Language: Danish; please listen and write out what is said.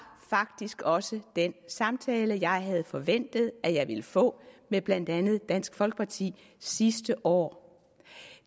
faktisk også den samtale jeg havde forventet at jeg ville få med blandt andet dansk folkeparti sidste år